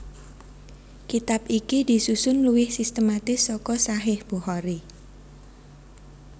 Kitab iki disusun luwih sistematis saka Shahih Bukhari